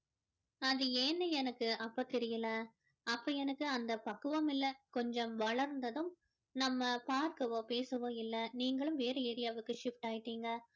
அது ஏன்னு எனக்கு அப்போ தெரியல அப்போ எனக்கு அந்த பக்குவம் இல்லை கொஞ்சம் வளர்ந்ததும் நம்ம பார்க்கவோ பேசவோ இல்லை நீங்களும் வேற area யாவுக்கு shift ஆயிட்டீங்க